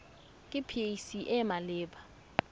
ke pac e e maleba